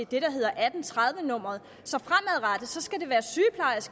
det der hedder atten tredive nummeret så